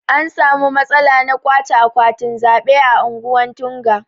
An samu matsala na ƙwache akwatin zaɓe a ungwan Tunga.